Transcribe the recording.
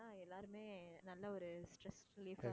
எல்லாருமே நல்ல ஒரு stress relief ஆ